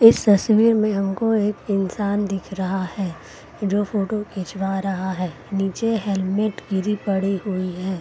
इस तस्वीर में हमको एक इंसान दिख रहा है जो की फोटो खिचवा रहा है नीचे हेलमेट गिरी पड़ी हुई है ।